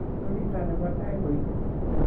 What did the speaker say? ko chito nebo tai koitu